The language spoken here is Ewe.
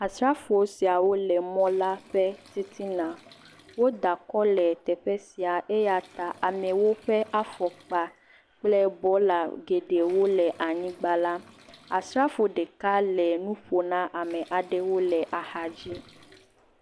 Asrafo siawo le mɔla ƒe titina. Woda kɔ le teƒe sia eya ta amewo ƒe afɔkpa kple bɔla geɖewo le anyigbala. Asrafo ɖeka le nu ƒom na ame aɖewo le.